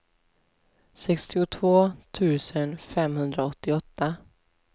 sextiotvå tusen femhundraåttioåtta